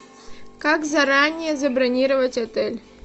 как заранее забронировать отель